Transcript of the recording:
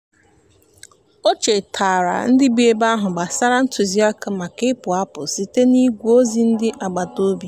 o chetaara ndị bi ebe ahụ gbasara ntụziaka maka ịpụ apụ site n'igwe ozi ndị agbataobi.